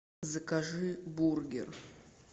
закажи бургер